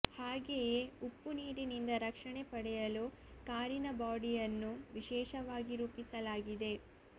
ಹಾಗೆಯೇ ಉಪ್ಪು ನೀರಿನಿಂದ ರಕ್ಷಣೆ ಪಡೆಯಲು ಕಾರಿನ ಬಾಡಿಯನ್ನು ವಿಶೇಷವಾಗಿ ರೂಪಿಸಲಾಗಿದೆ